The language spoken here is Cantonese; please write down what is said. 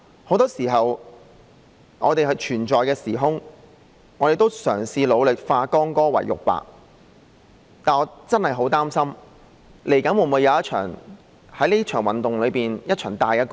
很多時候，我們都嘗試努力化干戈為玉帛，但我真的很擔心，這場運動日後會否有一場大干戈呢？